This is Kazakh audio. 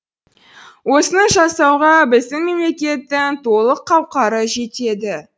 осыны жасауға біздің мемлекеттің толық қауқары жетеді